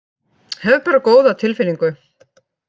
Hef bara góða tilfinningu